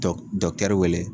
Dɔg wele